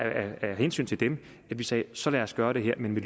hensyn til dem at vi sagde så lad os gøre det her men vi